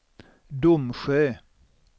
Domsjö